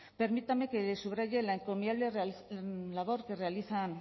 permítame que le subraye la encomiable labor que realizan